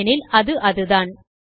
ஏன் எனில் அது அதுதான்